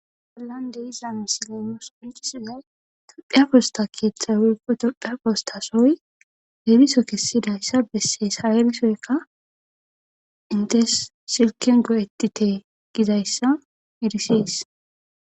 Bollande izilame sileemos oncisuyay tophiya fosta keexxay woyqo tophiya postasoy heeriso kessidayssa bessees ha7erisoykka intes silken go7etite gizayssa edisees.